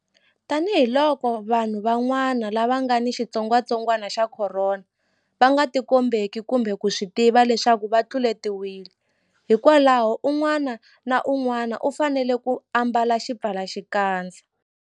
Tanihiloko vanhu van'wana lava nga ni xitsongwantsongwana xa Khorona va nga tikombeki kumbe ku swi tiva leswaku va tluletiwile, hikwalaho un'wana na un'wana u fanele ku ambala xipfalaxikandza.